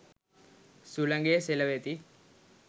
සුළඟේ සෙලවෙති.